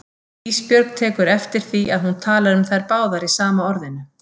Ísbjörg tekur eftir því að hún talar um þær báðar í sama orðinu.